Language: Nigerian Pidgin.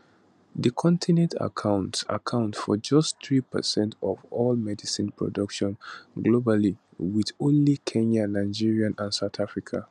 di continent account account for just three percent of all medicine production globally wit only kenya nigeria and south africa